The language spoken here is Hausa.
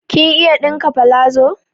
Kin iya ɗinka palazo?